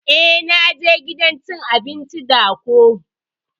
Eh na je gidan cin abinci da ko.